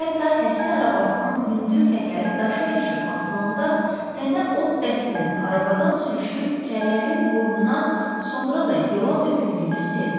Hətta həsir arabasının hündür təkəri daşa ilişib atılanda təzə od dəstinin arabadan sürüşüb kəllələrin boynuna, sonra da yola töküldüyünü sezmirdi.